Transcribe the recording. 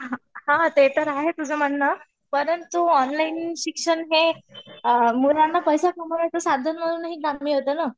ते तर आहे तुझं म्हणणं परंतु ऑनलाईन शिक्षण हे मुलांना